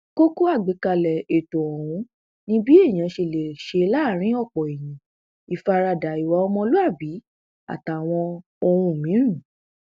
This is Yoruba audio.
kókó àgbékalẹ ètò ọhún ni bí èèyàn ṣe lè ṣe láàrin ọpọ èèyàn ìfaradà ìwà ọmọlúàbí àtàwọn ohun míín